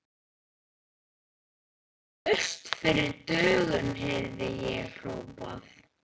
Laust fyrir dögun heyrði ég hrópað.